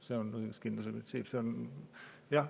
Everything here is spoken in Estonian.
See on õiguskindluse printsiip.